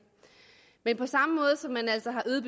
men på samme måde som man altså har øget